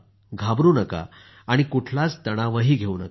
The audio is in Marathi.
घाबरू नका आणि कुठलाच तणावही घेऊ नका